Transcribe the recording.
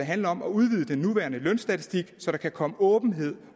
handler om at udvide den nuværende lønstatistik så der kan komme åbenhed